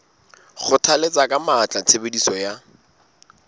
kgothalletsa ka matla tshebediso ya